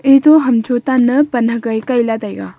eto hamcho tan ne pan hagai kai la taiga.